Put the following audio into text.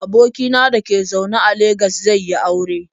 Aboki na da ke zaune a Legas zai yi aure.